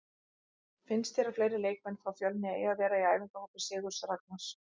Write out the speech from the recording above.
Finnst þér að fleiri leikmenn frá Fjölni eigi að vera í æfingahópi Sigurðs Ragnars?